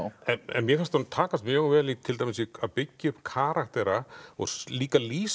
en mér fannst honum takast mjög vel til dæmis að byggja upp karaktera og líka lýsa